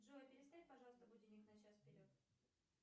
джой переставь пожалуйста будильник на час вперед